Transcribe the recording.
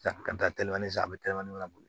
Ka taa teleman san a be telimani boli